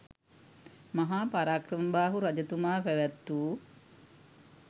මහා පරාක්‍රමබාහු රජතුමා පැවැත් වූ